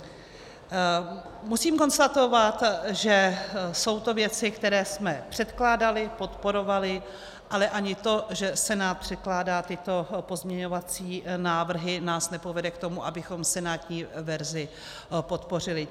Musím konstatovat, že jsou to věci, které jsme předkládali, podporovali, ale ani to, že Senát předkládá tyto pozměňovací návrhy, nás nepovede k tomu, abychom senátní verzi podpořili.